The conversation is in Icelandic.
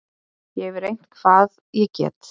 Ég hef reynt hvað ég get.